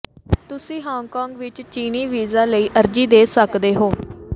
ਤੁਸੀਂ ਹਾਂਗਕਾਂਗ ਵਿੱਚ ਚੀਨੀ ਵੀਜ਼ਾ ਲਈ ਅਰਜ਼ੀ ਦੇ ਸਕਦੇ ਹੋ